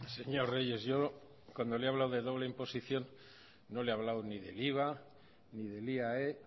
señor reyes yo cuando le he hablado de doble imposición no le he hablado ni del iva ni del iae